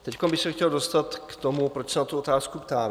Teď bych se chtěl dostat k tomu, proč se na tu otázku ptám.